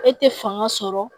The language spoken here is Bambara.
E tɛ fanga sɔrɔ